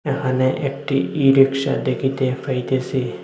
এখানে একটি e rickshaw দেখিতে পাইতেসি।